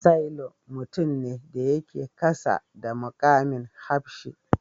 Sailor mutum ne da yake kasa da mukamin hafshi.